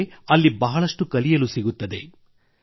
ತಮಗೆ ಅಲ್ಲಿ ಬಹಳಷ್ಟು ಕಲಿಯಲು ಸಿಗುತ್ತದೆ